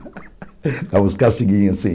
Dava uns castiguinhos assim.